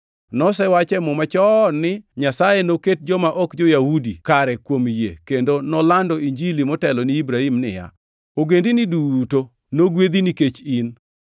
Nosewach e muma chon ni Nyasaye noket joma ok jo-Yahudi kare kuom yie kendo nolando Injili motelo ni Ibrahim niya, “Ogendini duto nogwedhi nikech in.” + 3:8 \+xt Chak 12:3; 18:18; 22:18\+xt*